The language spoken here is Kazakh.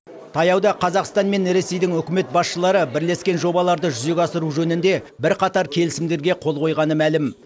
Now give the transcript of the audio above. таяуда қазақстан мен ресейдің үкімет басшылары бірлескен жобаларды жүзеге асыру жөнінде бірқатар келісімдерге қол қойғаны мәлім